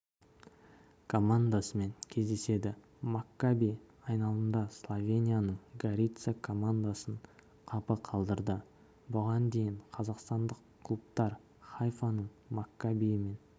командасымен кездеседі маккаби айналымда словенияның горица командасын қапы қалдырды бұған дейін қазақстандық клубтар хайфаның маккабиімен